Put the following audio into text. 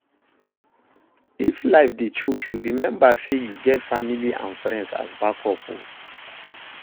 If life dey choke you remmba sey yu get family and friends as backup o